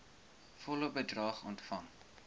volle bedrag ontvang